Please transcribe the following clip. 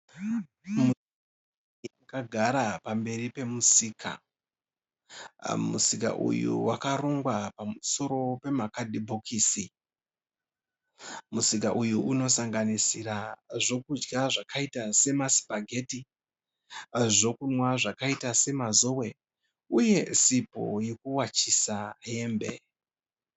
Kagara pamberi pemusika, musika uyu wakarongwa pamusoro pemakadhibhokisi. Musika uyu unosangisira zvokudya zvakaita semasipageti, zvokunwa zvakaita semazowe uye sipo yekuwachisa hembe.